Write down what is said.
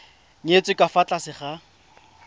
nyetswe ka fa tlase ga